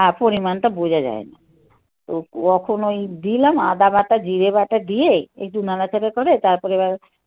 হ্যাঁ. পরিমানটা বোঝা যায় না, তো তখন ওই দিলাম আদা বাটা জিরে বাটা দিয়ে একটু নাড়াচাড়া করে তারপরে এবার